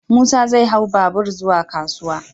Musa zai hau babur zuwa kasuwa.